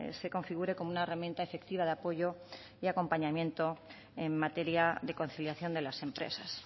se configure como una herramienta efectiva de apoyo y acompañamiento en materia de conciliación de las empresas